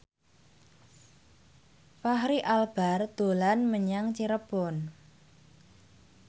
Fachri Albar dolan menyang Cirebon